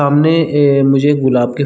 सामने ए मुझे गुलाब के--